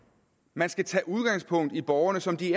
man skal tage udgangspunkt i borgerne som de